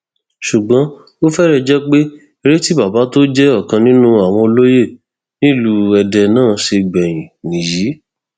ṣùgbọ́n ó fẹrẹ jẹ pé èrè tí bàbá tó jẹ ọkan nínú àwọn olóye nílùú èdè náà ṣe gbẹyìn nìyí